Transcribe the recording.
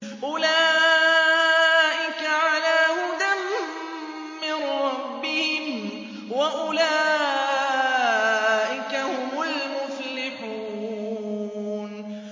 أُولَٰئِكَ عَلَىٰ هُدًى مِّن رَّبِّهِمْ ۖ وَأُولَٰئِكَ هُمُ الْمُفْلِحُونَ